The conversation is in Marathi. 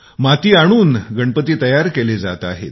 माती आणून गणपती बनवले जात आहेत